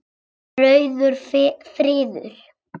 Rauður friður